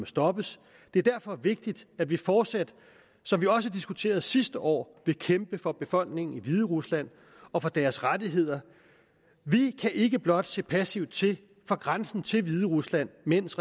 stoppes det er derfor vigtigt at vi fortsat som vi også diskuterede sidste år vil kæmpe for befolkningen i hviderusland og for deres rettigheder vi kan ikke blot se passivt til fra grænsen til hviderusland mens